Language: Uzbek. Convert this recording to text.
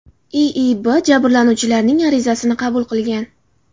IIBB jabrlanuvchilarning arizasini qabul qilingan.